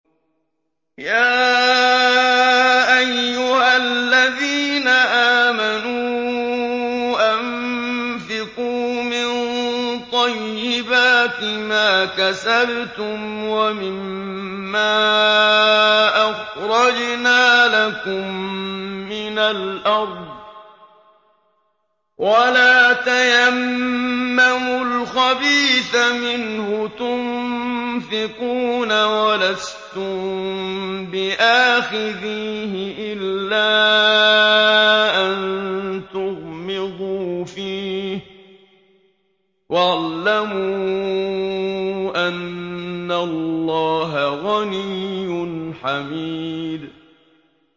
يَا أَيُّهَا الَّذِينَ آمَنُوا أَنفِقُوا مِن طَيِّبَاتِ مَا كَسَبْتُمْ وَمِمَّا أَخْرَجْنَا لَكُم مِّنَ الْأَرْضِ ۖ وَلَا تَيَمَّمُوا الْخَبِيثَ مِنْهُ تُنفِقُونَ وَلَسْتُم بِآخِذِيهِ إِلَّا أَن تُغْمِضُوا فِيهِ ۚ وَاعْلَمُوا أَنَّ اللَّهَ غَنِيٌّ حَمِيدٌ